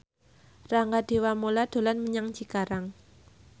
Rangga Dewamoela dolan menyang Cikarang